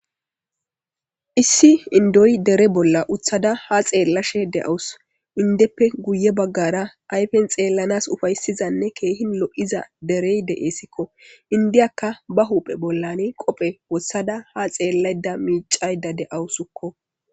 Issi indoy dere bolla utada ha xelishe de'awusu indife guye bagara ayfen xelanas ufaysiza Kehin lo'iza Derry de'esekko indiyakka ba hu'en bollan qofe wothida ha xelayda micayda de'awusukko